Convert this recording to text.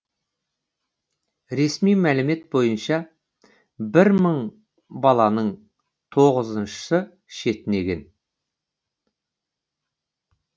ресми мәлімет бойынша бір мың баланың тоғызыншысы шетінеген